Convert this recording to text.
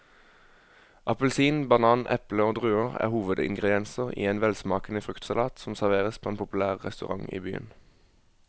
Appelsin, banan, eple og druer er hovedingredienser i en velsmakende fruktsalat som serveres på en populær restaurant i byen.